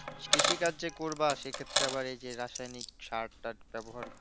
কৃষি কাজ যে করবা সেক্ষেত্রে রাসায়নিক সারটার